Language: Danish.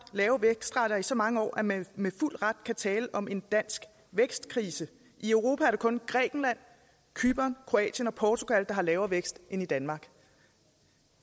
lave vækstrater i så mange år at man med fuld ret kan tale om en dansk vækstkrise i europa er det kun grækenland cypern kroatien og portugal der har haft lavere vækst end danmark